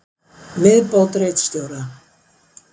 Viðbót ritstjóra: